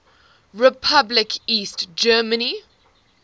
republic east germany